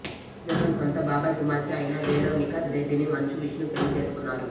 జగన్ సొంత బాబాయ్ కుమార్తె అయిన వెరోనికా రెడ్డిని మంచు విష్ణు పెళ్లి చేసుకున్నారు